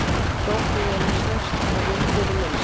Drottningin er stærst og vinnudýrin minnst.